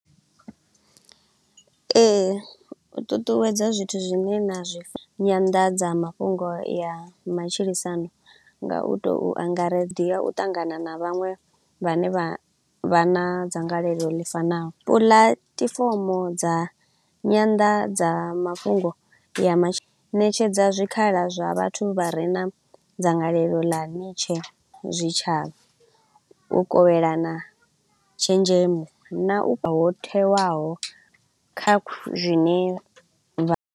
Ee, u ṱuṱuwedza zwithu zwine na zwi nyanḓadza mafhungo ya matshilisano nga u to u angare u ṱangana na vhaṅwe vhane vha vha na dzangalelo ḽi fanaho. Puḽatifomo dza nyanḓadza mafhungo ya mashe, netshedza zwikhala zwa vhathu vha re na dzangalelo ḽa zwitshavha, u kovhelana tshenzhemo na u ho thewaho kha khu zwine vha.